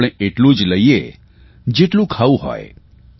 આપણે એટલું જ લઇએ જેટલું ખાવું હોય